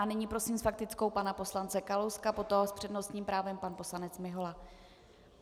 A nyní prosím s faktickou pana poslance Kalouska, potom s přednostním právem pan poslanec Mihola.